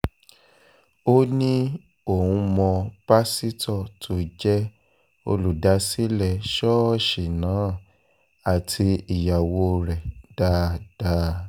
ó ní òun mọ pásítọ̀ tó jẹ́ olùdásílẹ̀ ṣọ́ọ̀ṣì náà àti ìyàwó rẹ̀ dáadáa